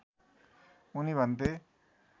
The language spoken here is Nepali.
उनी भन्थे